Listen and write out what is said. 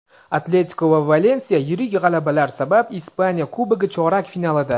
"Atletiko" va "Valensiya" yirik g‘alabalar sabab Ispaniya Kubogi chorak finalida.